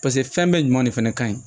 paseke fɛn bɛɛ ɲuman de fɛnɛ ka ɲi